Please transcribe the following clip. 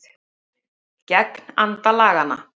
Gegn anda laganna